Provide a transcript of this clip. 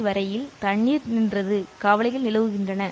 வரையில் தண்ணீர் நின்றது கவலைகள் நிலவுகின்றன